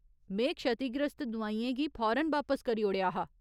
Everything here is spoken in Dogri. में क्षतिग्रस्त दुआइयें गी फौरन बापस करी ओड़ेआ हा।